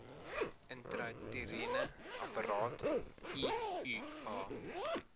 intrauteriene apparaat iua